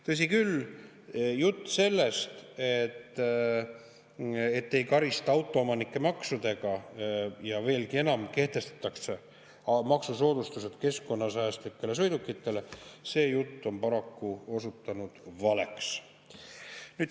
Tõsi küll, jutt sellest, et autoomanikke maksudega ei karista, ja veelgi enam, et kehtestatakse maksusoodustused keskkonnasäästlikele sõidukitele, on paraku osutunud valeks.